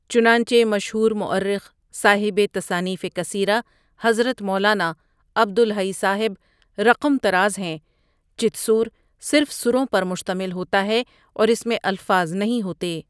چنانچہ مشہور مورخ صاحب تصانیف کثیرہ حضرت مولانا عبد الحی صاحبؒ رقم طراز ہیں چت سور صرف سُروں پر مشتمل ہوتا ہے، اور اس میں الفاظ نہیں ہوتے۔